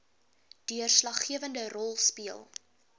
deurslaggewende rol speel